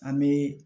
An bɛ